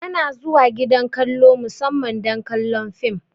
Ana zuwa gidan kallo musamman don kallon film